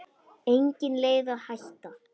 Engin leið að hætta.